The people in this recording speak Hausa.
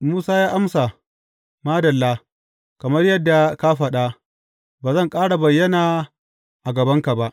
Musa ya amsa, Madalla, kamar yadda ka faɗa, ba zan ƙara bayyana a gabanka ba.